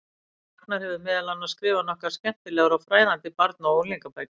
Ragnar hefur meðal annars skrifað nokkrar skemmtilegar og fræðandi barna- og unglingabækur.